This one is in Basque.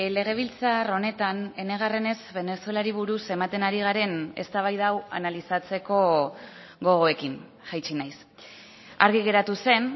legebiltzar honetan enegarrenez venezuelari buruz ematen ari garen eztabaida hau analizatzeko gogoekin jaitsi naiz argi geratu zen